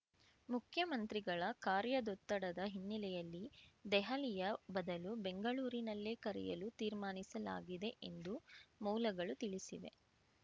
ಮುಖ್ಯಮಂತ್ರಿಗಳ ಕಾರ್ಯದೊತ್ತಡದ ಹಿನ್ನೆಲೆಯಲ್ಲಿ ದೆಹಲಿಯ ಬದಲು ಬೆಂಗಳೂರಿನಲ್ಲೇ ಕರೆಯಲು ತೀರ್ಮಾನಿಸಲಾಗಿದೆ ಎಂದು ಮೂಲಗಳು ತಿಳಿಸಿವೆ